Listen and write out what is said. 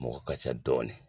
Mɔgɔ ka ca dɔɔnin